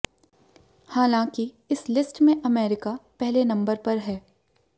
हालांकि इस लिस्ट में अमेरिका पहले नंबर पर है